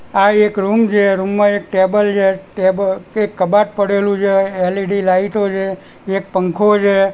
આ એક રૂમ છે રૂમ માં એક ટેબલ છે ટેબલ એક કબાટ પડેલું છે એલ_ઇ_ડી લાઇટો છે એક પંખો છે.